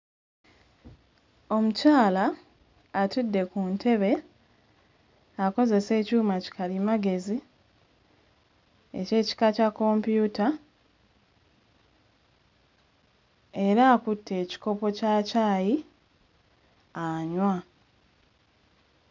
Omukyala atudde ku ntebe akozesa ekyuma ki kalimagezi eky'ekika kya computer era akutte ekikopo kya caayi anywa.